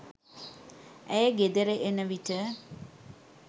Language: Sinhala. ඇය ගෙදර එන විට